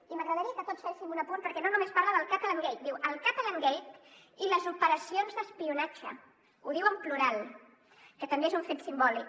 i m’agradaria que tots féssim un apunt perquè no només parla del catalangate diu el catalangate i les operacions d’espionatge ho diu en plural que també és un fet simbòlic